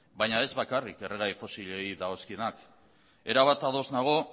baina ez bakarrik erregai fosilei dagozkionak erabat ados nago